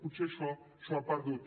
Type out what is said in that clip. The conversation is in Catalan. potser això s’ho ha perdut